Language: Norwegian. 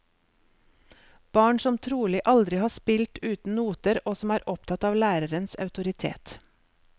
Barn som trolig aldri har spilt uten noter, og som er opptatt av lærerens autoritet.